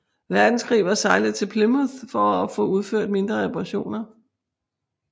Verdenskrig var sejlet til Plymouth for at få udført mindre reparationer